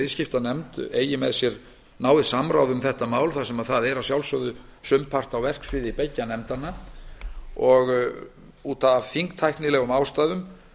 viðskiptanefnd eigi með sér náið samráð um þetta mál þar sem það er að sjálfsögðu sumpart á verksviði beggja nefndanna af þingtæknilegum ástæðum